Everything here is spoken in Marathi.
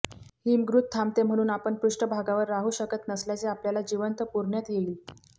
हिमगृती थांबते म्हणून आपण पृष्ठभागावर राहू शकत नसल्यास आपल्याला जिवंत पुरण्यात येईल